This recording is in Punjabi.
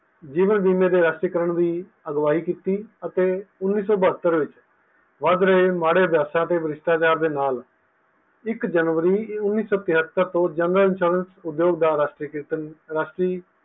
ਜੀਵਨ ਬੀਮਾ ਰਾਸ਼ਟਰੀਕਰਨ ਦੀ ਅਗਵਾਈ ਕੀਤੀ ਅਤੇ ਉਨੀ ਸੋ ਬੇਹਤਰ ਵਿਚ ਵੱਧ ਰਹੇ ਮਾੜੇ ਹਾਲਾਤ ਤੇ ਭ੍ਰਿਸ਼ਟਾਚਾਰ ਦੇ ਨਾਲ ਇਕ ਜਨਵਰੀ ਉਨ੍ਹੀ ਸੋ ਤੇਹਤਰ ਤੋਂ general insurace ਦਾ ਰਾਸ਼ਟਰੀਕਿਰਨ ਰਾਸ਼ਟਰੀ